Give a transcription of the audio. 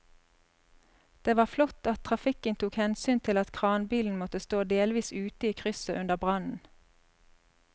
Det var flott at trafikken tok hensyn til at kranbilen måtte stå delvis ute i krysset under brannen.